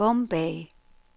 Bombay